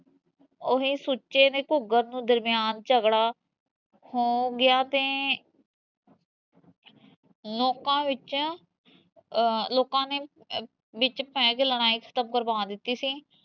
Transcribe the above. ਓਹੀ ਸੁੱਚੇ ਨੇ ਘੂਗਰ ਦਰਮਿਆਨ ਝਗੜਾ ਹੋ ਗਿਆ ਤੇ ਲੋਕਾਂ ਵਿੱਚ ਲੋਕਾਂ ਨੇ ਵਿੱਚ ਪੈ ਕੇ ਲੜਾਈ ਖਤਮ ਕਰਵਾ ਦਿੱਤੀ ਸੀ